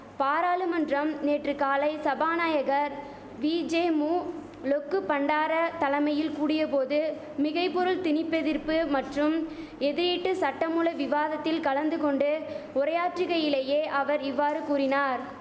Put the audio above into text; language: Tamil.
பாராளுமன்றம் நேற்று காலை சபாநாயகர் விஜேமு லொக்குபண்டார தலைமையில் கூடிய போது மிகைபொருள் திணிப்பதிர்ப்பு மற்றும் எதிரீட்டு சட்டமூல விவாதத்தில் கலந்து கொண்டு உரையாற்றுகையிலேயே அவர் இவ்வாறு கூறினார்